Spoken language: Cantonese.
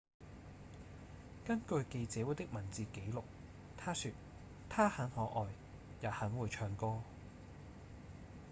根據記者會的文字記錄他說：「她很可愛也很會唱歌」